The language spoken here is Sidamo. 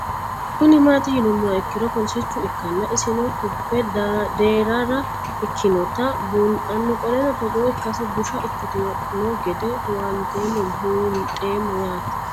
Kuni mati yinumoha ikiro polisicha ikana isino kube derara ikinota bunxana qoleno Togo ikasi busha ikitino gede huwanteemo bunxemo yaate